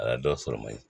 A ye dɔ sɔrɔ mali